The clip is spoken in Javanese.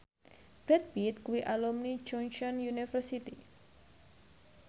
Brad Pitt kuwi alumni Chungceong University